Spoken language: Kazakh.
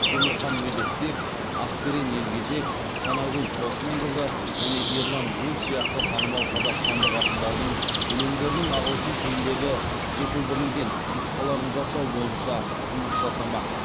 темірхан медетбек ақберен елгезек танакөз толқынқызы және ерлан жүніс сияқты танымал қазақстандық ақындардың өлеңдерінің ағылшын тіліндегі жетілдірілген нұсқаларын жасау бойынша жұмыс жасамақ